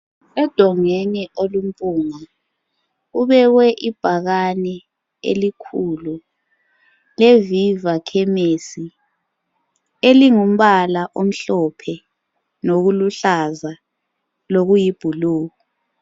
edongweni olumpunga kubekwe ibhakane elikhulu lezi yizakhemesi elingumbala elimhlophe lokuluhlaza lokuyi blue